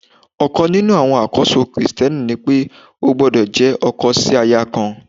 Ọ̀kan nínú àwọn àkóso Kristẹni ni pé ó gbọ́dọ̀ jẹ́ ọkọ sí aya kan.